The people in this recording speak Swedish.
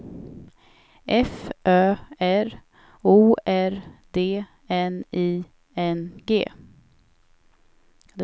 F Ö R O R D N I N G